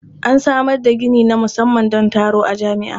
An samar da gini na musamman don taro a jami'a.